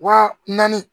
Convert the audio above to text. Wa naani